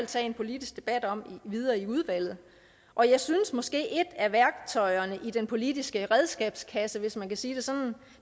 tage en politisk debat om videre i udvalget og jeg synes måske at et af værktøjerne i den politiske redskabskasse hvis man kan sige